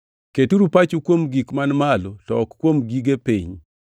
Keturu pachu kuom gik man malo to ok kuom gige piny.